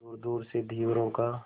दूरदूर से धीवरों का